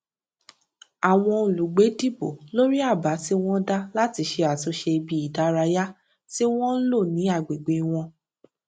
àwọn olùgbé dìbò lórí àbá tí wón dá láti ṣe àtúnṣe ibi ìdárayá tí wọn ń lò ní agbègbè wọn